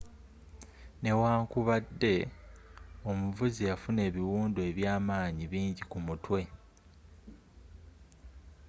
n'ewankubadde omuvuzi yafuna ebiwundu ebya manyi bingi kumutwe